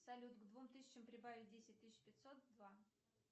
салют к двум тысячам прибавить десять тысяч пятьсот два